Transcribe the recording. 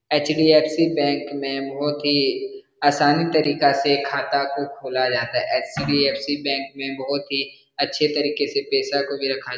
HDFC. Bank में बहोत ही आसानी तरीका से खाता को खोला जाता है एच.डी.एफ.सी. बैंक में बहोत ही अच्छे तरीके से पैसा को भी रखा --